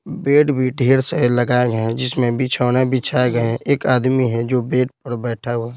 Bed भी ढेर से लगाए हैं जिसमें बिछोने बिछाए गए हैं एक आदमी है जो बेड पर बैठा हुआ है।